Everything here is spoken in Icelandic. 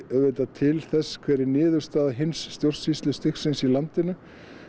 auðvitað til þess hver er niðurstaða hins stjórnsýslustigsins í landinu